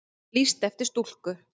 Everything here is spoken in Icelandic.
Lýst eftir stúlku